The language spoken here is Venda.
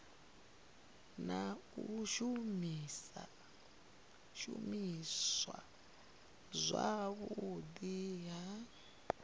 na u shumiswa zwavhudi ha